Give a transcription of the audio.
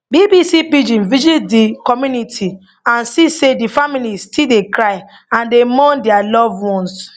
bbc pidgin visit di community and see say di families still dey cry and dey mourn dia loved ones